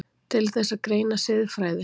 Til þess að greina siðfræði